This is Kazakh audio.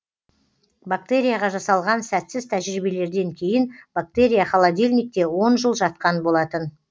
бактерияға жасалған сәтсіз тәжірибелерден кейін бактерия холодильникте он жыл жатқан болатын